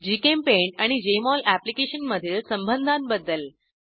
GChemPaint आणि Jmol application मधील संबंधांबद्दल